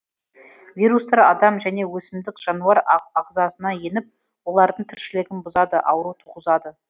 вирустар адам және өсімдік жануар ағзасына еніп олардың тіршілігін бұзады ауру туғызады